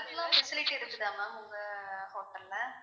அதுக்கெல்லாம் facilities இருக்குதா ma'am உங்க hotel ல?